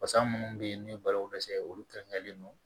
Basa munnu be yen n'u ye balo dɛsɛ olu kɛrɛnkɛrɛnlen don